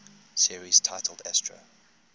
series titled astro